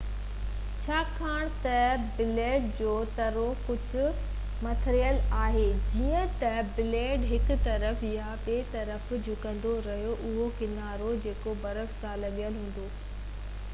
ڇاڪاڻ ته بليڊ جو ترو ڪجهه مڙيل آهي جئين ته بليڊ هڪ طرف يا ٻئي طرف جهڪندو رهي ٿو اهو ڪنارو جيڪو برف سان لڳل هوندو آهي اهو به مڙندو آهي